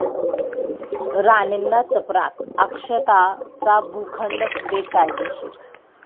राणेंना चपराक, 'अक्षता'चा भूखंड बेकायदेशीर